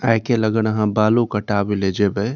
आय-काल अगर आहां बालों कटाबे ले जेबे --